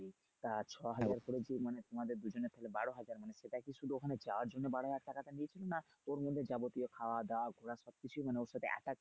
তা ছ হাজার করে দিয়ে মানে তোমাদের তাহলে বারো হাজার মানে এটা কি শুধু ওখানে যাওয়ার জন্য বারো হাজার টাকা টা দিয়েছিস না ওর মধ্যে যাবতীয় খাওয়া দাওয়া ঘোরাফেরা সবকিছুই মানে ওর সাথে attach